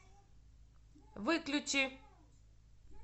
выключи